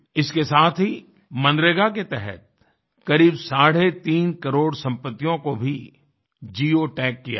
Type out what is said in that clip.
इसके साथ ही मनरेगा के तहत करीब साढ़े तीन करोड़ संपत्तियों को भी जिओटैग किया गया